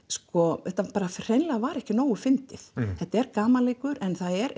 sko þetta hreinlega var ekki nógu fyndið þetta er gamanleikur en það er